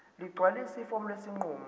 ligcwalise ifomu lesinqumo